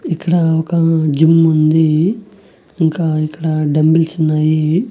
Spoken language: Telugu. ఇక్కడ ఒక జిమ్ ఉంది ఇంకా ఇక్కడ డంబుల్స్ ఉన్నాయి.